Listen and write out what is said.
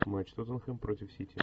матч тоттенхэм против сити